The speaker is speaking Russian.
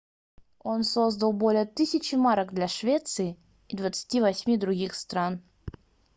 он создал более 1000 марок для швеции и 28 других стран